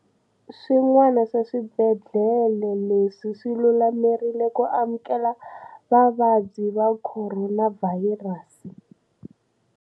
Swin'wana swa swibedhlele leswi swi lulamerile ku amukela vavabyi va Khoronavhayirasi.